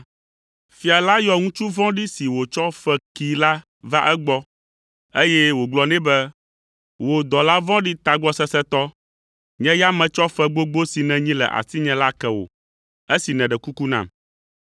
“Fia la yɔ ŋutsu vɔ̃ɖi si wòtsɔ fe kee la va egbɔ, eye wògblɔ nɛ be, ‘Wò, dɔla vɔ̃ɖi tagbɔsesẽtɔ! Nye ya metsɔ fe gbogbo si nènyi le asinye la ke wò esi neɖe kuku nam.